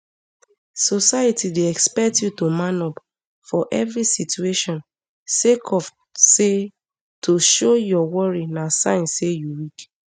society dey expect you to man up for evri situation sake of say to show your worry na sign say you weak